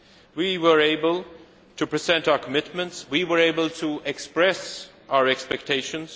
We were able to present our commitments. We were able to express our expectations.